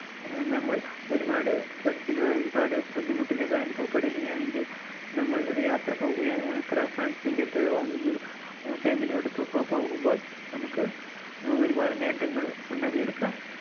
ആഹ് നമ്മൾ ഒരുപാട് tension യോ, ഒരുപാട് ബുദ്ധിമുട്ടലുകൾ അനുഭവപ്പെടുകയാണെങ്കിൽ നമ്മൾ ഒരു യാത്ര പോവുകയാ യാത്ര friends ന്റെ ഒപ്പവോ അല്ലെങ്കിൽ അഹ് family യോടൊപ്പം ഒക്കെ പോകുമ്പോൾ നമുക്ക് ആഹ് ഒരുപാട് നേട്ടങ്ങൾ ഉണ്ടാക്കിയെടുക്കാം.